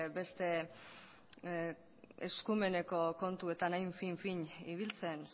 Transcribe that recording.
beste eskumeneko kontuetan hain fin fin ibiltzen